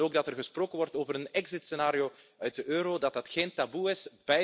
Ze willen ook dat er gesproken wordt over een exitscenario uit de euro, dat dat geen taboe is.